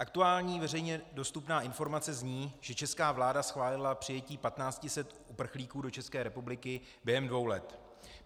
Aktuální veřejně dostupná informace zní, že česká vláda schválila přijetí 1 500 uprchlíků do České republiky během dvou let.